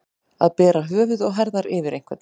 Að bera höfuð og herðar yfir einhvern